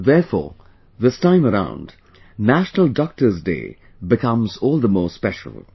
Therefore, this time around National Doctors Day becomes all the more special